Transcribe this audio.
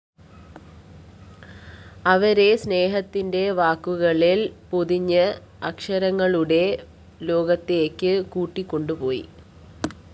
അവരെ സ്‌നേഹത്തിന്റെ വാക്കുകളില്‍ പൊതിഞ്ഞ് അക്ഷരങ്ങളുടെ ലോകത്തേക്ക് കൂട്ടിക്കൊണ്ടുപോയി